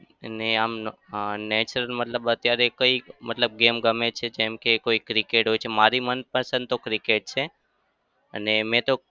એ નઈ આમ અમ nature મતલબ અત્યારે કઈ મતલબ game ગમે છે જેમ કે કોઈ cricket હોય છે. મારી મનપસંદ તો cricket છે અને મેં તો